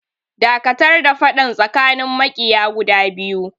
Dakatar da faɗan tsakanin maƙiya guda biyu!